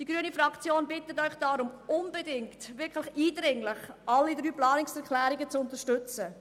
Die grüne Fraktion bittet Sie deshalb unbedingt und wirklich eindringlich, alle drei Planungserklärungen zu unterstützen.